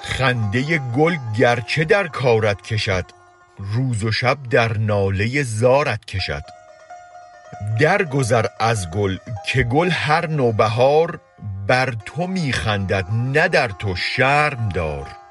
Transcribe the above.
خنده گل گر چه در کارت کشد روز و شب در ناله زارت کشد درگذر از گل که گل هر نوبهار بر تو می خندد نه در تو شرم دار